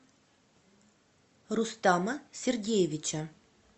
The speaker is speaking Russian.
рустама сергеевича